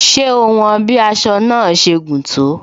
Ṣé o won bí aṣọ náà ṣe gùn tó?